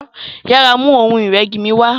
yàrá mú Ohun ìrẹ́gi mí wá.